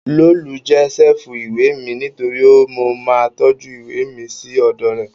Lolú jẹ́ ṣẹ́ẹ̀fù ìwé mi nítorí mo máa ń tọ́jú ìwé mi sí ọ̀dọ̀ rẹ̀